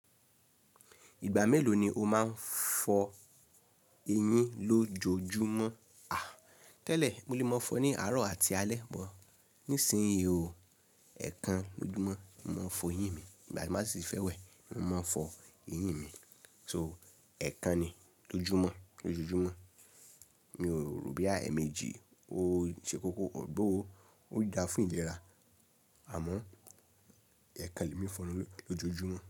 Ìgbà mélòó ni o máa ń fọ eyín ló jojúmọ́? À, tẹ́lẹ̀ mo lè máa fọ ní àárọ̀ àti alẹ́ mọ́. Nísìnyí o, ẹ̀ẹ̀kan lójoojúmọ́ mo máa ń fọ eyín mi. Ìgbà tí mo sì fẹ́ wẹ̀, mo máa ń fọ eyín mi. So ẹ̀ẹ̀kan ni lójoojúmọ́. Lójojúmọ́ mi ò rò bí emẹ́jí ó ṣe koko, although ó dá fún ìlera, àmọ́ ẹ̀ẹ̀kan le mi fọ enu lójoojúmọ́.